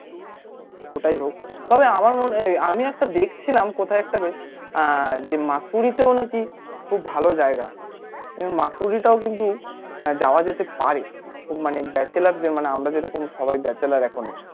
ওটাই হোক তবে আমার মনে হয় আমি একটা দেখছিলাম কোথায় একটা বেশ আহ যে মাসুরিতেও নাকি খুব ভালো জায়গা মাসুরিটাও কিন্তু যাওয়া যেতে পারে খুব মানে bachelor দের মানে আমরা যেরকম সবাই bachelor এখনো